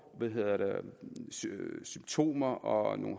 symptomer og